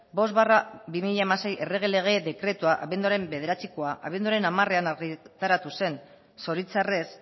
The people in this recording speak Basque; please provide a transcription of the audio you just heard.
bost barra bi mila hamasei errege lege dekretua abenduaren bederatzikoa abenduaren hamarean argitaratu zen zoritxarrez